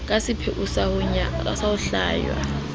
ka sepheo sa ho hlwaya